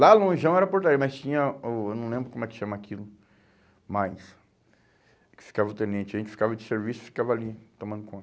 Lá lonjão era portaria, mas tinha o, eu não lembro como é que chama aquilo, mas... que ficava o tenente, a gente ficava de serviço, ficava ali, tomando